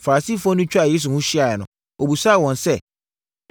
Farisifoɔ no twaa Yesu ho hyiaeɛ no, ɔbisaa wɔn sɛ,